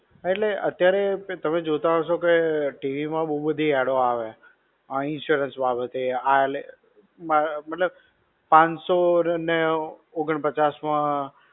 હા એટલે અતારે તમે જોતા હશો કે, T. V. માં બવ બધી એડ઼ો આવે, આ insurance વાળો છે, આ લે, મતલબ, પાનસો ને ઓગણપચાસ માં